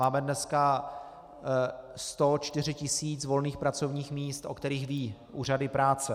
Máme dneska 104 tisíc volných pracovních míst, o kterých vědí úřady práce.